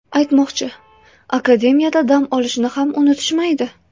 Aytmoqchi, Akademiyada dam olishni ham unutishmaydi.